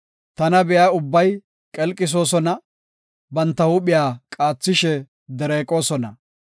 Tana be7iya ubbay qelqisoosona; banta huuphiya qaathishe dereeqosona.